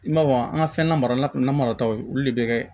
I m'a fɔ an ka fɛn na marala kunna marataw ye olu de bɛ kɛ